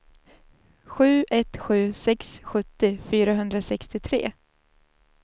sju ett sju sex sjuttio fyrahundrasextiotre